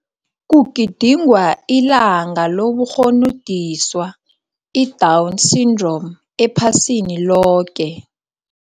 Kugidingwa Ilanga Loburhonodiswa, iDown Syndrom, Ephasiniloke